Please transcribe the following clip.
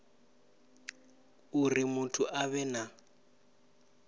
uri muthu a vhe na